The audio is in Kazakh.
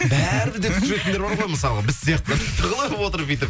бәрібір де түсіретіндер бар ғой мысалға біз сияқтылар тығылып отырып бүйтіп